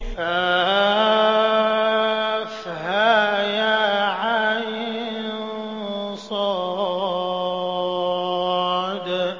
كهيعص